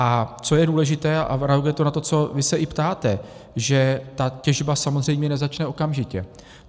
A co je důležité a opravdu je to na to, co vy se i ptáte, že ta těžba samozřejmě nezačne okamžitě.